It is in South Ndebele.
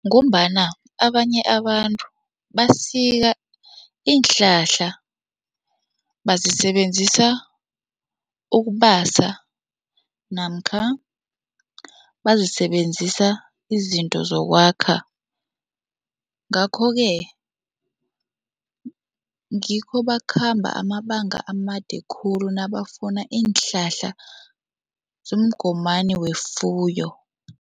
Ngombana abanye abantu basika iinhlahla, bazisebenzisa ukubasa namkha bazisebenzisa izinto zokwakha ngakho-ke ngikho bakhamba amabanga amade khulu nabafuna iinhlahla zomgomani wefuyo.